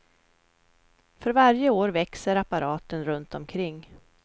För varje år växer apparaten runt omkring.